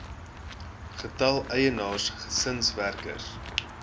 getal eienaars gesinswerkers